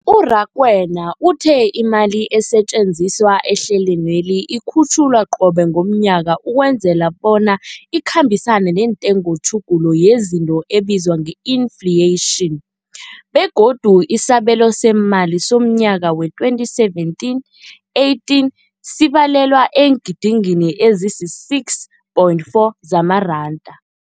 U-Rakwena uthe imali esetjenziswa ehlelweneli ikhutjhulwa qobe ngomnyaka ukwenzela bona ikhambisane nentengotjhuguluko yezinto ebizwa nge-infleyitjhini, begodu isabelo seemali somnyaka we-2017, 18 sibalelwa eengidigidini ezisi-6.4 zamaranda.